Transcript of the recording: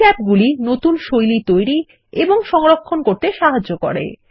এই ট্যাবগুলির নতুন শৈলী তৈরি এবং সংরক্ষণ করতে সাহায্য করে